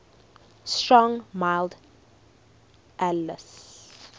strong mild ales